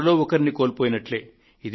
మనలో ఒకరిని కోల్పోయినట్లే